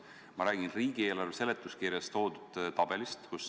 Ma räägin riigieelarve eelnõu seletuskirjas toodud tabelist.